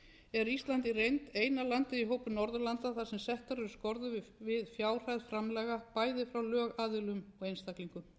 er ísland í reynd eina landið í hópi norðurlanda þar sem settar eru skorður við fjárhæð framlaga bæði frá lögaðilum og einstaklingum auk þess að vera